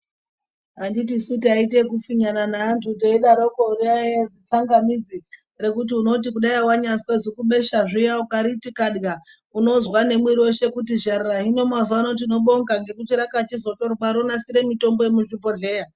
Anditisu taiite ekupfinyana neantu teidaroko raiya zitsangamidzi rekuti unoti kudai wanyazwa zibesha zviya ukariti kada unozwa nemwiri weshe kuti zharara hino mazuwa ano tinobonga ngekuti rakachizotorwa ronasira mitombo yemuzvibhehleya.